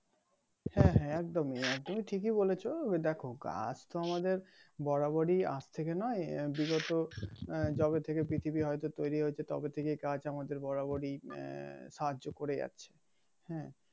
হ্যাঁ হ্যাঁ একদম ই আর কি ঠিকিই বলেছো দেখো গাছ তো আমাদের বরাবরই আজ থেকে নয় বিগত আহ যবে থেকে পৃথিবী হয়তো তৈরি হয়েছে তবে থেকে গাছ আমাদের বরাবরই সাহায্য করে যাচ্ছে